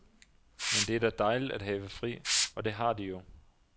Men det er da dejligt at have fri, og det har de jo.